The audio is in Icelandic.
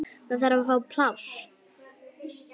Það þarf að fá pláss.